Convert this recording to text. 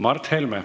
Mart Helme.